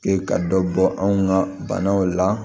E ka dɔ bɔ anw ka banaw la